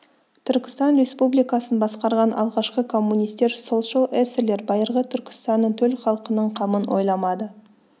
түркістан республикасын басқарған алғашқы коммунистер солшыл эсерлер байырғы түркістанның төл халқының қамын ойламады